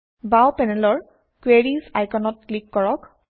বাওঁ পেনেলৰ কুৱেৰিজ আইকনত ক্লিক কৰক